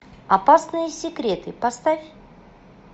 опасные секреты поставь